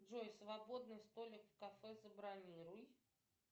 джой свободный столик в кафе забронируй